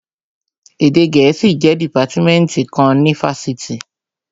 Èdè gẹ̀ẹ́sì jẹ́ dìpátímẹ́ǹtì kan ní ifásitì